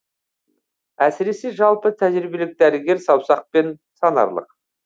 әсіресе жалпы тәжірибелік дәрігер саусақпен санарлық